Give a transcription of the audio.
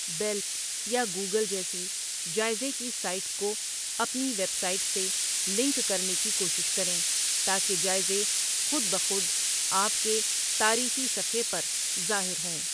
بیلب یا گوگل جیسی جائزے کی سائٹس کو اپنی ویب سائٹ سے لنک کرنے کی کوشش کریں تاکہ جائزے خود بخود آپ کے تعریفی صفحے پر ظاہر ہوں۔